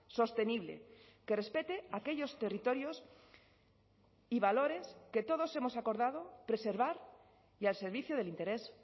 sostenible que respete aquellos territorios y valores que todos hemos acordado preservar y al servicio del interés